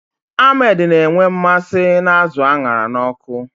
Ahmed na-enwe mmasị n'azụ a ṅara n'ọkụ